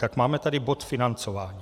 Tak máme tady bod financování.